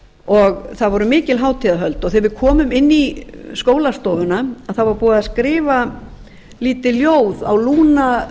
og það voru mikil hátíðahöld þegar við komum inn í skólastofuna þá var búið að skrifa lítið ljóð á